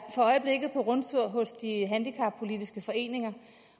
for øjeblikket på rundtur hos de handicappolitiske foreninger